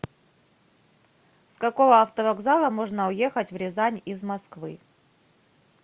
с какого автовокзала можно уехать в рязань из москвы